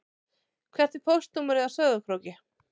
Hvert er póstnúmerið á Sauðárkróki?